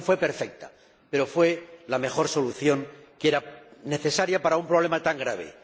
no fue perfecta, pero fue la mejor solución que era necesaria para un problema tan grave.